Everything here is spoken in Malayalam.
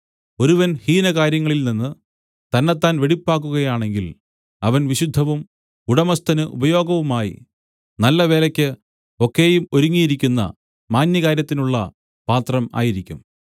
ഒരുവൻ ഹീനകാര്യങ്ങളിൽ നിന്ന് തന്നെത്താൻ വെടിപ്പാക്കുകയാണെങ്കിൽ അവൻ വിശുദ്ധവും ഉടമസ്ഥന് ഉപയോഗവുമായി നല്ല വേലയ്ക്ക് ഒക്കെയും ഒരുങ്ങിയിരിക്കുന്ന മാന്യകാര്യത്തിനുള്ള പാത്രം ആയിരിക്കും